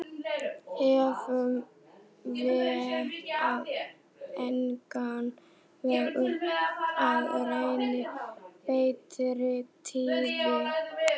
Efum vér á engan veg upp að renni betri tíðir